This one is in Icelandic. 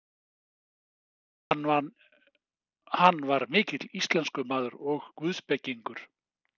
Hann var mikill íslenskumaður og guðspekingur.